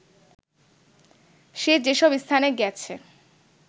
সে যেসব স্থানে গেছে